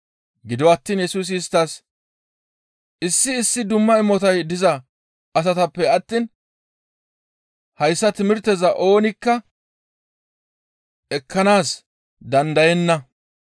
Gido attiin Yesusi isttas, «Issi issi dumma imotay diza asatappe attiin hayssa timirteza oonikka ekkanaas dandayenna.